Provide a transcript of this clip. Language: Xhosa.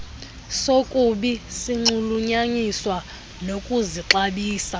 sokubi sinxulunyaniswa nokuzixabisa